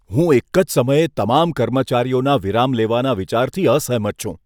હું એક જ સમયે તમામ કર્મચારીઓના વિરામ લેવાના વિચારથી અસહેમત છું.